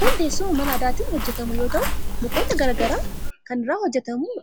Kun teessuma mala aadaatin hojjetamu yoo tahuu mukoota gara garaa irraa kan hojjetamu